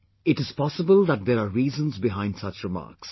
It is possible that there are reasons behind such remarks